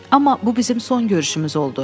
Amma bu bizim son görüşümüz oldu.